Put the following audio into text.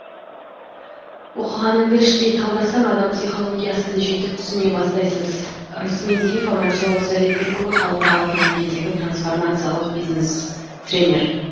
оқығаныңды іштей талдасаң адам психологиясын жетік түсіне бастайсыз рысмендиев аманжол советбекұлы халықаралық деңгейдегі трансформациялық бизнес тренер